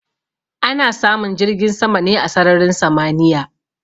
Ana samun jirgin sama ne a sararin samaniya.